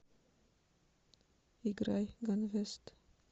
играй ганвест